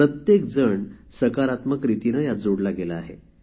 प्रत्येक जण सकारात्मकरीतीने यात जोडला गेला आहे